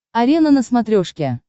арена на смотрешке